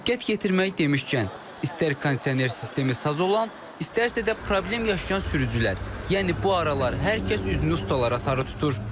Diqqət yetirmək demişkən, istər kondisioner sistemi saz olan, istərsə də problem yaşayan sürücülər, yəni bu aralar hər kəs üzünü ustalara sarı tutur.